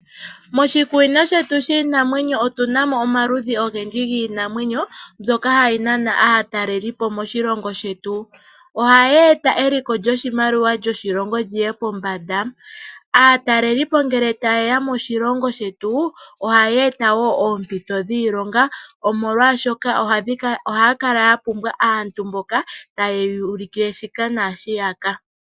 Moshikunino shetu shiinamwenyo otuna mo omaludhi ogendji giinamwenyo mbyoka hayi naana aataleli po moshilongo shetu. Ohayi eta eliko lyoshimaliwa lyoshilongo lyi ye pombanda. Aataleli po ngele tageya moshilongo shetu ohayi eta oompito dhiilonga omolwaashoka ohaya kala ya pumbwa aantu mboka taye yuulukile shoka naashi yaka.